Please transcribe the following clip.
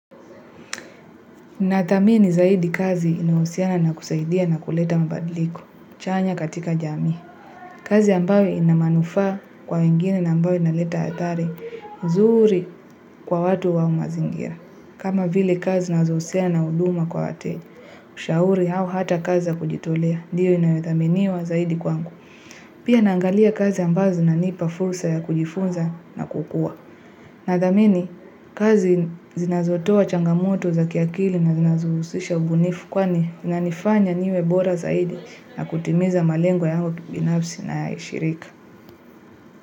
Nathamini zaidi kazi inayohusiana na kusaidia na kuleta mabadliko. Chanya katika jamii. Kazi ambayo ina manufaa kwa wengine na ambayo inaleta athari. Zuri kwa watu wa mazingira. Kama vile kazi zinazohusiana na huduma kwa wateja. Ushauri au hata kazi na kujitolea. Ndio inayothaminiwa zaidi kwangu. Pia naangalia kazi ambazo zinanipa fursa ya kujifunza na kukua. Akili inazohusisha ubunifu kwani inanifanya niwe bora zaidi na kutimiza malengo yao kibinafsi na ya shirika.